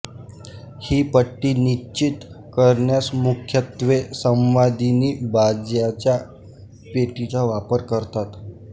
ही पट्टी निश्चित करण्यास मुख्यत्वे संवादिनी बाजाच्या पेटीचा वापर करतात